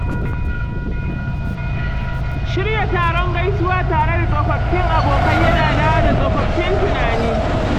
Shirya taron gaisuwa tare da tsofaffin abokai yana dawo da tsofaffin tunani.